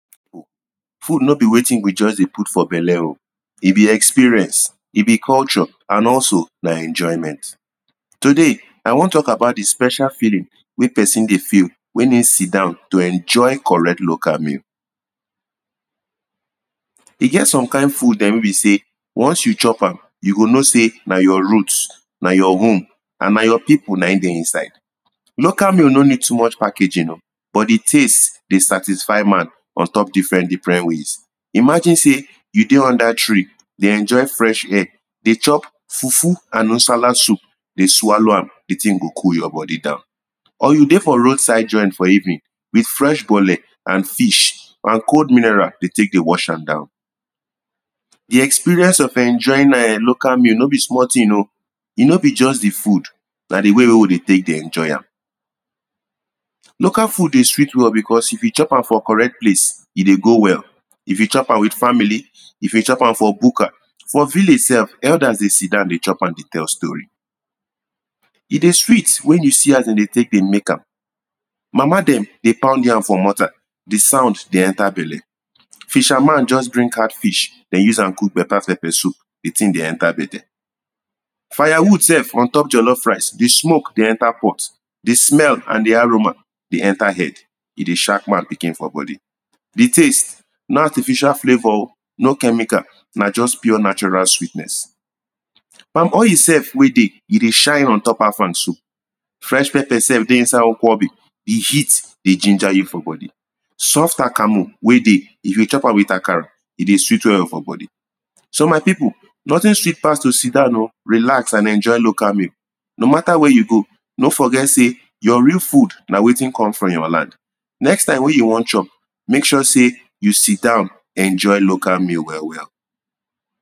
food no be wetin we just de put for belle o if you experience e be culture and also na enjoyment today, i wan talk about the special feeling when person de feel when you sidown to enjoy better local meal. e get some kind food them wey be say once you chop am, you go know say na your root na your worm and na your people na ehm de inside local meal no need too much packaging o but the things de satisfy man on top different different ways imagine say, you de under tree de enjoy fresh air de chop fufu and Usala soup de swallow am, the thing go cool your body down or you de for roadside joint for evening with fresh bole and fish, and cool mineral de take de wash am down. The experience of enjoying local meal no be small thing o e no be just the food na de way wey we de take enoy am. Local food de sweet well because if you chop am for correct place e de go well if you chop am with family if you chop am for bugar, for village self elders de sidown de chop am de tell story e de sweet when you see as them de take de make am mama them de pound yam for morta, the sound de enter belle Fisher man just bring cat fish they use am cook better pepper soup the thing de enter bede fire wood sef ontop jollof rice, the smoke de enter pot the smell and the aroma de enter head e de shark man pikin for body the taste, no artificial flavour o, no chemical, na just pure natural sweetness palm oil sef wey de e de shine on top Afang soup fresh pepper sef de inside Okwobi de heat de ginger you for body soft akamo wey de, if you chop am with akara e de sweet well well for body So my people, nothing sweet pass to sidown o relax and enjoy local meal no matter where you go, no forget say your real food na wetin come from your land next time when you wan chop, make sure say you sidown enjoy local meal well well.